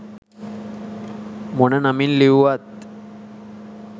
මොන නමින් ලිව්වත්.